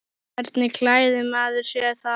Hvernig klæðir maður sig þá?